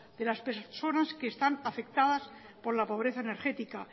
de las personas que están afectadas por la pobreza energética